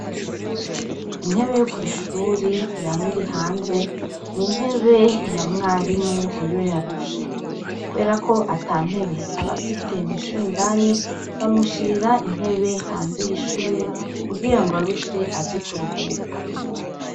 Intebe yo kw'ishure yama iri hanze, ni intebe ya mwarimu iyo yarushe. Kuberako ata ntebe aba afise mw'ishure indani, bamushirira intebe hanze y'ishure kugirango arushe, aze kuruhuka.